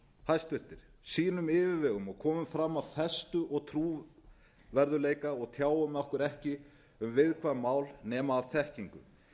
hæstvirtur sýnum yfirvegun og komum fram af festu og trúverðugleika og tjáum okkur ekki um viðkvæm mál nema af þekkingu